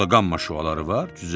Burda qamma şüaları var?